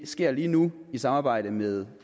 sker lige nu i samarbejde med